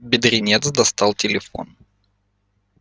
бедренец достал телефон